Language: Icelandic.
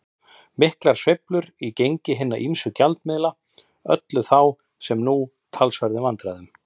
Miklar sveiflur í gengi hinna ýmsu gjaldmiðla ollu þá, sem nú, talsverðum vandræðum.